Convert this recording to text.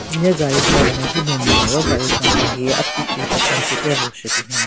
Hile gaari tson nme hyu lu nyo ro gaari tson ka hi ati ki kechon khipe rhu shü binyon.